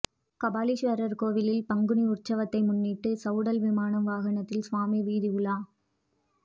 கபாலீஸ்வர் கோவிலில் பங்குனி உற்சவத்தை முன்னிட்டு சவுடல் விமானம் வாகனத்தில் சுவாமி வீதியுலா